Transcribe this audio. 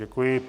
Děkuji.